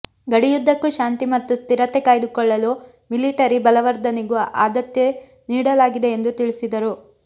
ಗಡಿಯುದ್ದಕ್ಕೂ ಶಾಂತಿ ಮತ್ತು ಸ್ಥಿರತೆ ಕಾಯ್ದುಕೊಳ್ಳಲು ಮಿಲಿಟರಿ ಬಲವರ್ಧನೆಗೂ ಆದ್ಯತೆ ನೀಡಲಾಗಿದೆ ಎಂದು ತಿಳಿಸಿದರು